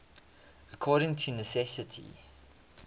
according to necessity